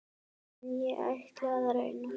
En ég ætla að reyna.